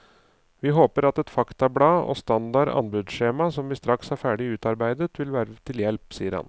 Vi håper at et faktablad og standard anbudsskjema som vi straks har ferdig utarbeidet, vil være til hjelp, sier han.